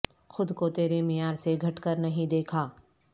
خود کو ترے معیار سے گھٹ کر نہیں دیکھا